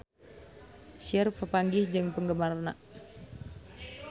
Cher papanggih jeung penggemarna